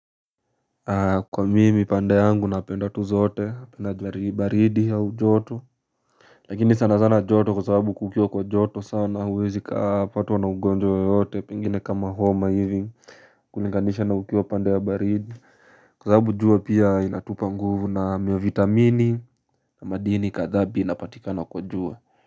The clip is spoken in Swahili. Kwa mimi pande yangu na penda tu zote penda baridi ya joto Lakini sana sana joto kwa sababu kukiwa kwa joto sana huwezi kaa patwa na ugonjwa yoyote pengine kama homa hivi kulinganisha na ukiwa pande ya baridi Kwa sababu jua pia inatupa nguvu na miyo vitamini na madini kadhaa pia inapatikana kwa jua.